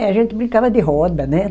É, a gente brincava de roda, né?